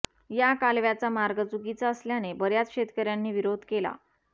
या कालव्याचा मार्ग चुकीचा असल्याने बर्याच शेतकर्यांनी विरोध केला